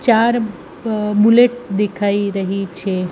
ચાર બ-બુલેટ દેખાય રહી છે.